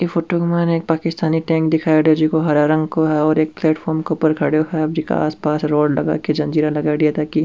ई फोटो के माइन एक पाकिस्तानी टैंक दिखाईडा है जोको हरा रंग को है और एक प्लेटफॉर्म पर खड़ो है जीका आस पास रोड लगा के जंगीरा लगाई ताकी --